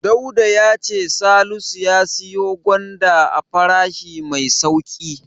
Dauda ya ce Salisu ya siyo gwanda a farashi mai sauƙi.